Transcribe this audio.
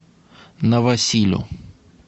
новосилю